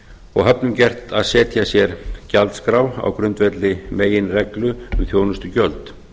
og höfnum gert að setja sér gjaldskrá á grundvelli meginreglu um þjónustugjöld